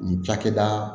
Nin cakɛda